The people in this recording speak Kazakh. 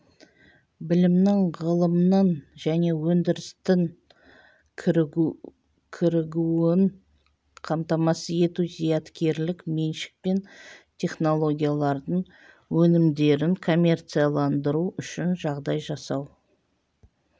білімнің ғылымның және өндірістің кірігуін қамтамасыз ету зияткерлік меншік пен технологиялардың өнімдерін коммерцияландыру үшін жағдай жасау